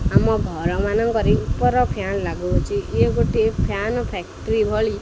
ଆମ ଘର ମାନଙ୍କରେ ଉପର ଫ୍ୟାନ୍ ଲାଗୁ ଅଛି ଇଏ ଗୋଟେ ଫ୍ୟାନ୍ ଫ୍ୟାକ୍ଟ୍ରି ଭଳି।